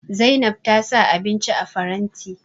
Zainab ta sa abinci a faranti